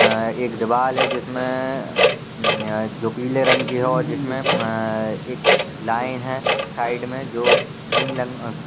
अ एक दीवार है जिसमे अम्म जो पीले रंग की और जिसमे अम्म एक लाइन है साइड मे जो क्रीम लंग--